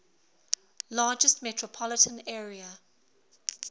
largest metropolitan area